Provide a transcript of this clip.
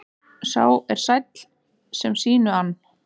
Sá er sæll sem sínu ann.